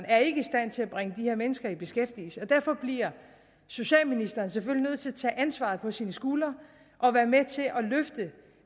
er i stand til at bringe de her mennesker i beskæftigelse og derfor bliver socialministeren selvfølgelig nødt til at tage ansvaret på sine skuldre og være med til